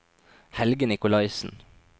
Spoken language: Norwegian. Helge Nicolaysen